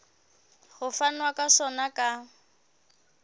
ho fanwa ka sona ka